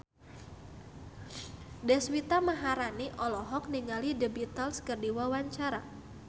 Deswita Maharani olohok ningali The Beatles keur diwawancara